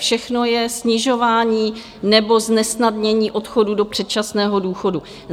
Všechno je snižování nebo znesnadnění odchodu do předčasného důchodu.